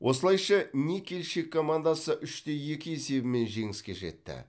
осылайша никельщик командасы үш те екі есебімен жеңіске жетті